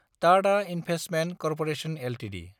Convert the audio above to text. Tata investment corporation Ltd